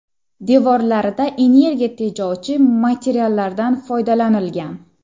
Devorlarida energiya tejovchi materiallardan foydalanilgan.